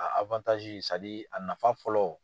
A a nafa fɔlɔ.